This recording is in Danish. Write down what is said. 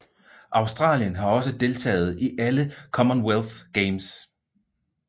Australien har også deltaget i alle Commonwealth Games